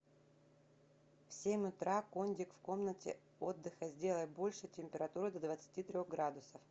в семь утра кондик в комнате отдыха сделай больше температуру до двадцати трех градусов